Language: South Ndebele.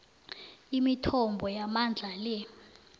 imithombo yamandla le